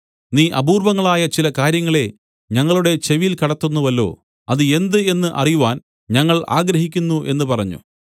നീ അപൂർവങ്ങളായ ചില കാര്യങ്ങളെ ഞങ്ങളുടെ ചെവിയിൽ കടത്തുന്നുവല്ലോ അത് എന്ത് എന്ന് അറിവാൻ ഞങ്ങൾ ആഗ്രഹിക്കുന്നു എന്നു പറഞ്ഞു